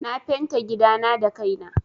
Na fenta gidana da kai na.